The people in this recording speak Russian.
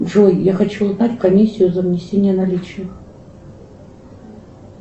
джой я хочу узнать комиссию за внесение наличных